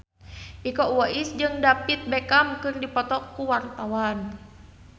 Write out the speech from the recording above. Iko Uwais jeung David Beckham keur dipoto ku wartawan